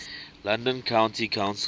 london county council